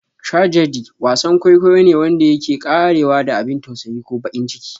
"Tragedy" Wasan kwaikwayo ne wanda yake ƙarewa da abin tausayi ko baƙin ciki.